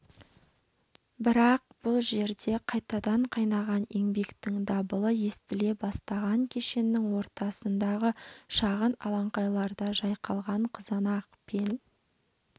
бірақ бұл жерде қайтадан қайнаған еңбектің дабылы естіле бастаған кешеннің ортасындағы шағын алаңқайларда жайқалған қызанақ пен